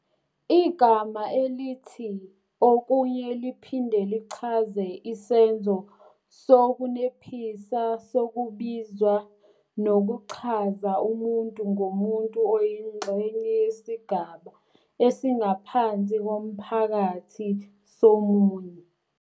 igama elithi okunye liphinde lichaze isenzo sokunephisa sokubizwa nokuchaza umuntu ngomuntu oyingxenye yesigaba esingaphansi komphakathi somunye